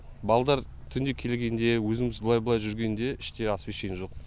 балдар түнде келгенде өзіміз былай былай жүргенде іште освещение жоқ